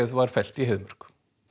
var fellt í Heiðmörk